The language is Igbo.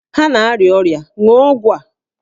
Ha na-arịa ọrịa, ṅụọ ọgwụ a!